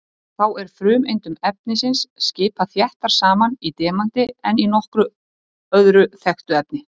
Þá er frumeindum efnisins skipað þéttar saman í demanti en í nokkru öðru þekktu efni.